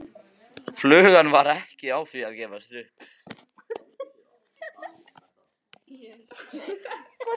Flugan var ekki á því að gefast upp.